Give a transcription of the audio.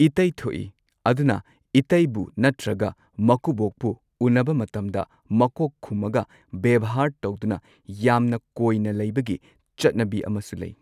ꯏꯇꯩ ꯊꯣꯛꯏ ꯑꯗꯨꯅ ꯏꯇꯩꯕꯨ ꯅꯠꯇ꯭ꯔꯒ ꯃꯀꯨꯕꯣꯛꯄꯨ ꯎꯟꯅꯕ ꯃꯇꯝꯗ ꯃꯀꯣꯛ ꯈꯨꯝꯃꯒ ꯕꯦꯚꯥꯔ ꯇꯧꯗꯨꯅ ꯌꯥꯝꯅ ꯀꯣꯏꯅ ꯂꯩꯕꯒꯤ ꯆꯠꯅꯕꯤ ꯑꯃꯁꯨ ꯂꯩ꯫